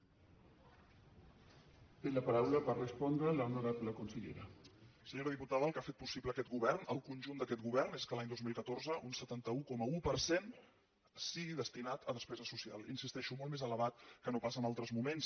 senyora diputada el que ha fet possible aquest govern el conjunt d’aquest govern és que l’any dos mil catorze un setanta un coma un per cent sigui destinat a despesa social hi insisteixo molt més elevat que no pas en altres moments